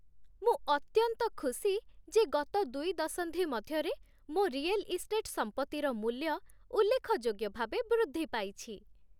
ମୁଁ ଅତ୍ୟନ୍ତ ଖୁସି ଯେ ଗତ ଦୁଇ ଦଶନ୍ଧି ମଧ୍ୟରେ ମୋ ରିୟେଲ୍ ଇଷ୍ଟେଟ୍ ସମ୍ପତ୍ତିର ମୂଲ୍ୟ ଉଲ୍ଲେଖଯୋଗ୍ୟ ଭାବେ ବୃଦ୍ଧି ପାଇଛି।